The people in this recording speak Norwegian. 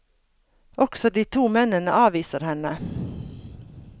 Også de to mennene avviser henne.